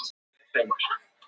Þessu hafnar Þráinn í svari sínu